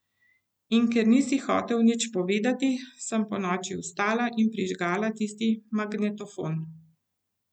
In ker nisi hotel nič povedati, sem ponoči vstala in prižgala tisti magnetofon.